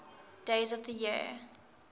days of the year